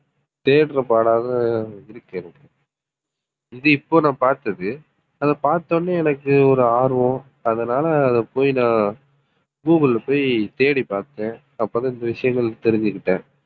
தேடறபாடாதான் இருக்கு எனக்கு இது இப்போ நான் பார்த்தது. அதை பார்த்த உடனே எனக்கு ஒரு ஆர்வம் அதனாலே அதை போய் நான் google ல போய் தேடிப் பார்த்தேன். அப்பதான் இந்த விஷயங்கள் தெரிஞ்சுகிட்டேன்